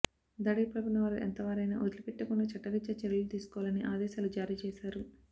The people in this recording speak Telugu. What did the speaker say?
దాడికి పాల్పడిన వారు ఎంతవారైన వదిలిపెట్టకుండా చట్టరీత్యా చర్యలు తీసుకోవాలని ఆదేశాలు జారీ చేశారు